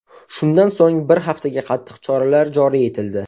Shundan so‘ng bir haftaga qattiq choralar joriy etildi.